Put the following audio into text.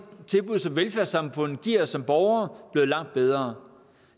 tilbud som velfærdssamfundet giver os som borgere blevet langt bedre